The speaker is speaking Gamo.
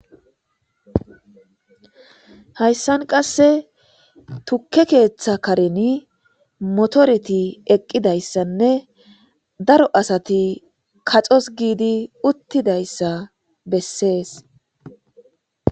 hayssan qasse tukke keeththa kareni motoreti eqqidayssanne daro asati kaxos giidi uttidayssa bessees